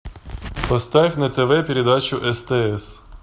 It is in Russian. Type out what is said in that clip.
поставь на тв передачу стс